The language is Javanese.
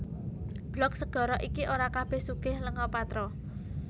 Blok segara iki ora kabèh sugih lenga patra